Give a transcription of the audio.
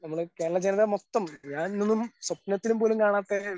നമ്മൾ കേരളജനത മൊത്തം, ഞാനൊന്നും സ്വപ്നത്തിൽ പോലും കാണാത്ത